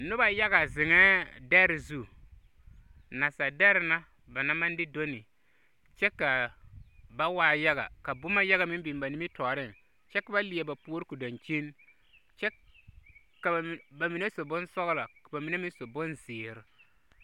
Noba yaga zeŋɛɛ dɛre zu. Naasa dɛre na ba naŋ ma de doni, kyɛ kaa ba waa yaga. Ka boma mine meŋ biŋ ba nimitɔɔreŋ, kyɛ ka ba leɛ ba puor ko dankyin kyɛk ka ba, ba mineseɛ su bonsɔɔlo, ka ba mine meŋ su bonzeer.